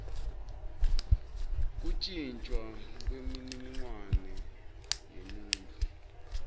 kuntjintjwa kwemininingwane yemuntfu